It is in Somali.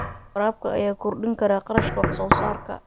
Waraabka ayaa kordhin kara kharashka wax soo saarka.